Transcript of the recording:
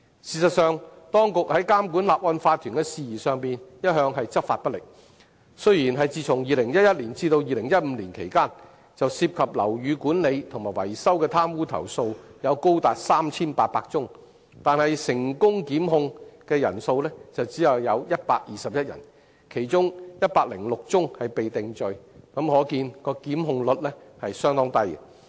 事實上，當局在監管法團的事宜上一向執法不力，雖然在2011年至2015年期間，就涉及樓宇管理及維修的貪污投訴有高達 3,800 宗，但成功檢控人數只有121人，其中106宗被定罪，可見檢控率相當低。